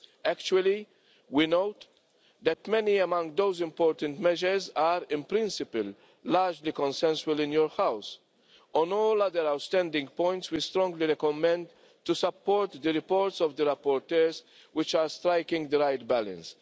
Actually, we note that many among those important measures are in principle, largely consensual within your house. On all other outstanding points we strongly recommend support for the reports of the rapporteurs, which are striking the right balance.